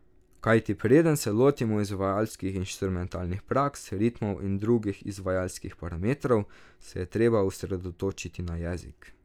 Kajti preden se lotimo izvajalskih inštrumentalnih praks, ritmov in drugih izvajalskih parametrov, se je treba osredotočiti na jezik.